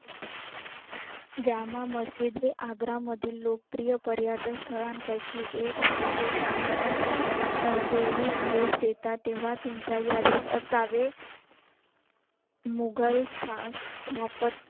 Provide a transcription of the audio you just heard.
आग्रा मधील लोकप्रिय पर्यटन स्थळा पयकी एक आहे जे तुम्ही तुमच्या अं वेळी भेट देता तेव्हा तुमच्या यादीत असावे मुघल